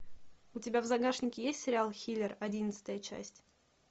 у тебя в загашнике есть сериал хилер одиннадцатая часть